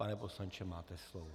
Pane poslanče, máte slovo.